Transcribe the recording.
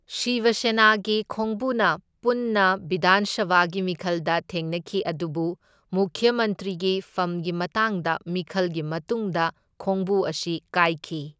ꯁꯤꯕ ꯁꯦꯅꯥꯒꯤ ꯈꯣꯡꯕꯨꯅ ꯄꯨꯟꯅ ꯕꯤꯙꯥꯟ ꯁꯚꯥꯒꯤ ꯃꯤꯈꯜꯗ ꯊꯦꯡꯅꯈꯤ ꯑꯗꯨꯕꯨ ꯃꯨꯈ꯭ꯌ ꯃꯟꯇ꯭ꯔꯤꯒꯤ ꯐꯝꯒꯤ ꯃꯇꯥꯡꯗ ꯃꯤꯈꯜꯒꯤ ꯃꯇꯨꯡꯗ ꯈꯣꯡꯕꯨ ꯑꯁꯤ ꯀꯥꯏꯈꯤ꯫